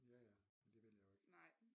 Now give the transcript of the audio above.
Ja ja men det vil jeg jo ikke